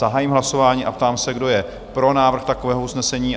Zahájím hlasování a ptám se, kdo je pro návrh takového usnesení?